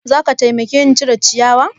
Za ka taimake ni cire ciyawa?